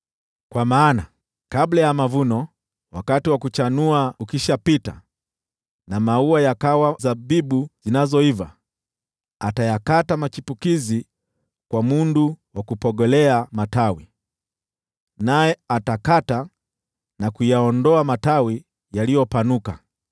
Kwa maana, kabla ya mavuno, wakati wa kuchanua ukishapita na maua yakawa zabibu zinazoiva, atayakata machipukizi kwa mundu wa kupogolea matawi, naye atakata na kuyaondoa matawi yaliyopanuka.